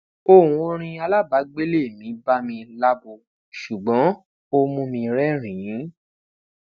ohun orin alabaagbele ba mi labo ṣugbọn o mu mi rẹrinin